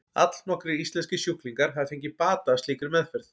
Allnokkrir íslenskir sjúklingar hafa fengið bata af slíkri meðferð.